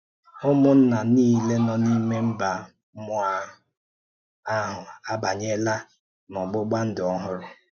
Ụ́mụ̀nna niile nọ n’ime mba mmụọ ahụ ahụ abànyèla n’ọgbụ̀gba ndụ ọhụrụ.